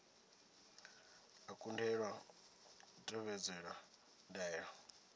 a kundelwa u tevhedzela ndaela